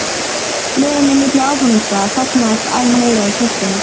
leiðinni milli áfangastaða safnast æ meira í töskuna.